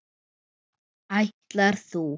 Ætlar þú.?